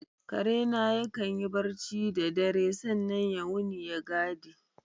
Karena ya kan yi barci da dare sannan ya wuni ya gadi.